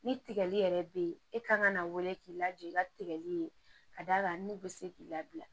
Ni tigɛli yɛrɛ be yen e ka kan ka na wele k'i lajɔ i ka tigɛli ye ka da kan n'u be se k'i labila